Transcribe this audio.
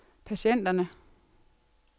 patienterne